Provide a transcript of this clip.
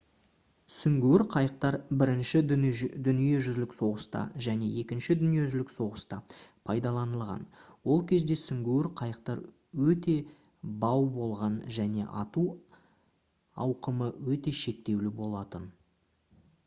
сүңгуір қайықтар бірінші дүниежүзілік соғыста және екінші дүниежүзілік соғыста пайдаланылған ол кезде сүңгуір қайықтар өте бау болған және ату ауқымы өте шектеулі болатын